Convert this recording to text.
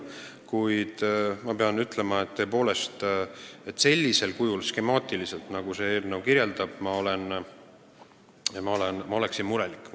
Kuid ma pean ütlema, et tõepoolest, kui seda teha sellisel kujul, skemaatiliselt, nagu selles eelnõus kirjas on – ma oleksin murelik.